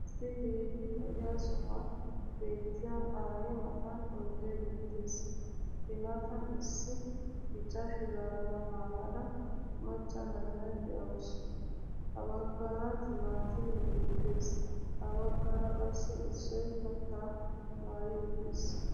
Issi keehi lo'iya sohuwan beetiya aayee matan oydee beettees, I matan issi bicca shuraabiya maayada macca na'iya de'awusu. Ha bagaara timaatimee beettees. Ha baggaara qassi issoy kattaa maayi uttiis.